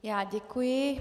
Já děkuji.